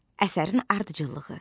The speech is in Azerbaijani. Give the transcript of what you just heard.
Əsərin ardıcıllığı.